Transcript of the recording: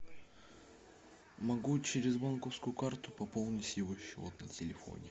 могу через банковскую карту пополнить его счет на телефоне